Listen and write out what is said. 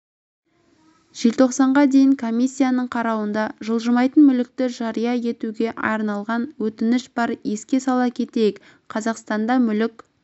желтоқсанға дейін комиссияның қарауында жылжымайтын мүлікті жария етуге арналған өтініш бар еске сала кетейік қазақстанда мүлік